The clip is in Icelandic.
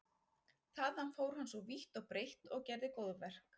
Þaðan fór hann svo vítt og breitt og gerði góðverk.